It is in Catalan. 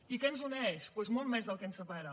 i què ens uneix doncs molt més del que ens separa